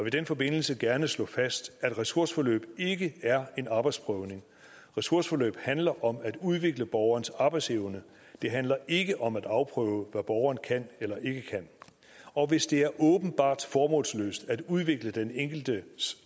i den forbindelse gerne slå fast at et ressourceforløb ikke er en arbejdsprøvning et ressourceforløb handler om at udvikle borgerens arbejdsevne det handler ikke om at afprøve hvad borgeren kan eller ikke kan og hvis det er åbenbart formålsløst at udvikle den enkeltes